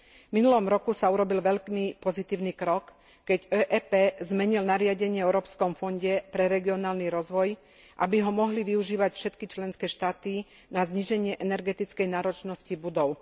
V minulom roku sa urobil veľmi pozitívny krok, keď OEP zmenil nariadenie o Európskom fonde pre regionálny rozvoj, aby ho mohli využívať všetky členské štáty na zníženie energetickej náročnosti budov.